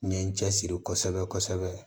N ye n cɛ siri kosɛbɛ kosɛbɛ